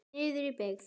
Niður í byggð.